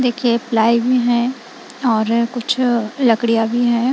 देखिए प्लाई भी है और कुछ लकड़ियां भी है।